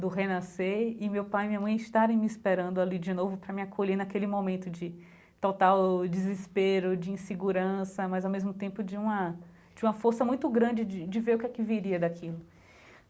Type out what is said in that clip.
do renascer e meu pai e minha mãe estarem me esperando ali de novo para me acolher naquele momento de total desespero, de insegurança, mas ao mesmo tempo de uma de uma força muito grande de de de ver o que que viria daquilo.